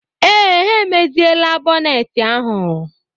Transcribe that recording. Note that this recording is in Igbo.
Ee, ha emeziela bọneeti ahụ.